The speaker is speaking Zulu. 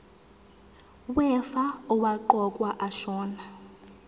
wefa owaqokwa ashona